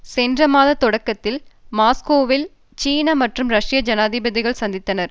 சென்ற மாத தொடக்கத்தில் மாஸ்கோவில் சீன மற்றும் ரஷ்ய ஜனாதிபதிகள் சந்தித்தனர்